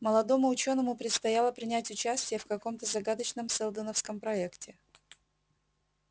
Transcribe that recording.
молодому учёному предстояло принять участие в каком-то загадочном сэлдоновском проекте